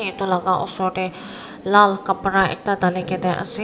etu laka osor dae lal kabra ekta tali kina ase.